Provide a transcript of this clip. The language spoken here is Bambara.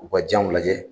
U ka janw lajɛ